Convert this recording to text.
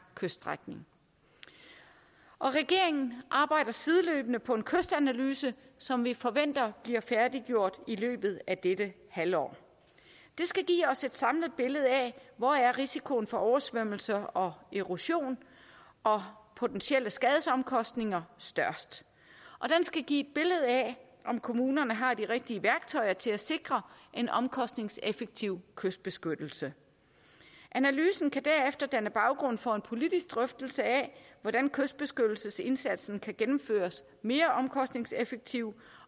kyststrækning regeringen arbejder sideløbende på en kystanalyse som vi forventer bliver færdiggjort i løbet af dette halvår den skal give os et samlet billede af hvor risikoen for oversvømmelser og erosion og potentielle skadesomkostninger størst og den skal give et billede af om kommunerne har de rigtige værktøjer til at sikre en omkostningseffektiv kystbeskyttelse analysen kan derefter danne baggrund for en politisk drøftelse af hvordan kystbeskyttelsesindsatsen kan gennemføres mere omkostningseffektivt